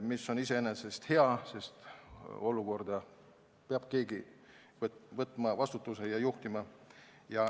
See oli iseenesest hea, sest sellises olukorras peab keegi vastutuse võtma ja juhtima.